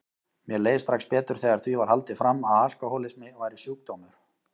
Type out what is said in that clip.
Mér leið strax betur þegar því var haldið fram að alkohólismi væri sjúkdómur.